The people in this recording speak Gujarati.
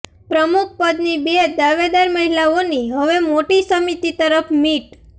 પ્રમુખ પદની બે દાવેદાર મહિલાઓની હવે મોટી સમિતિ તરફ મીટ